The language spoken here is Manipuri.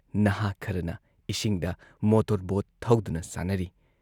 ꯅꯍꯥꯥ ꯈꯔꯅ ꯏꯁꯤꯡꯗ ꯃꯣꯇꯣꯔ ꯕꯣꯠ ꯊꯧꯗꯨꯅ ꯁꯥꯟꯅꯔꯤ ꯫